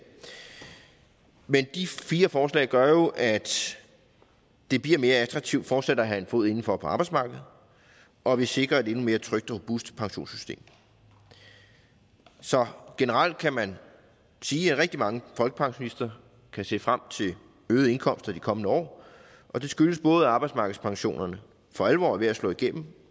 men de fire forslag gør jo at det bliver mere attraktivt fortsat at have en fod indenfor på arbejdsmarkedet og at vi sikrer et endnu mere trygt og robust pensionssystem så generelt kan man sige at rigtig mange folkepensionister kan se frem til øgede indkomster de kommende år og det skyldes både at arbejdsmarkedspensionerne for alvor er ved at slå igennem